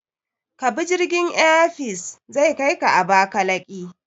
Kabi jirgin Air Peace, zai kaika Abakalaki.